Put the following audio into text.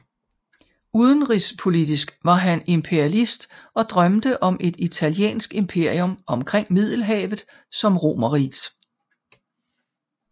Udenrigspolitisk var han imperialist og drømte om et italiensk imperium omkring Middelhavet som Romerrigets